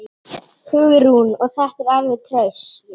Hugrún: Og þetta alveg traust?